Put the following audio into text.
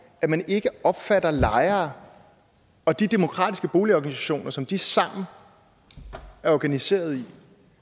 at man ikke opfatter lejere og de demokratiske boligorganisationer som de sammen er organiseret i